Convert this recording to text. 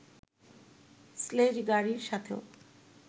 sledge গাড়ির সাথেও